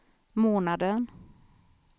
månaden